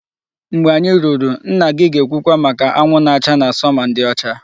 Mgbe anyị ruru, nna gị ga-ekwuwa maka anwụ na-acha na summer ndị ọcha